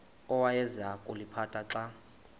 awayeza kuliphatha xa